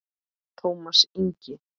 Tómas Ingi.